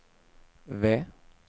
V